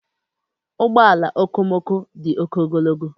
Ụgbọ ala okomoko dị oke ogologo.